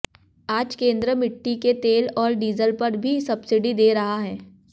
आज केंद्र मिट्टी के तेल और डीजल पर भी सबसिडी दे रहा है